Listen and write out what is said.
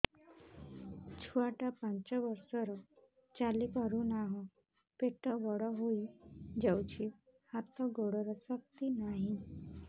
ଛୁଆଟା ପାଞ୍ଚ ବର୍ଷର ଚାଲି ପାରୁନାହଁ ପେଟ ବଡ ହୋଇ ଯାଉଛି ହାତ ଗୋଡ଼ର ଶକ୍ତି ନାହିଁ